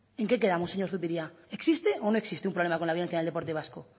en qué quedamos señor zupiria existe o no existe un problema con la violencia en el deporte vasco